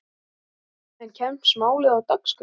En kemst málið á dagskrá?